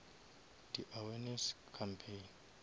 di awareness campaign